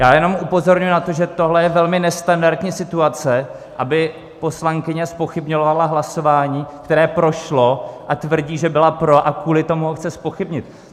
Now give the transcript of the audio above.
Já jenom upozorňuji na to, že tohle je velmi nestandardní situace, aby poslankyně zpochybňovala hlasování, které prošlo, a tvrdí, že byla pro, a kvůli tomu ho chce zpochybnit.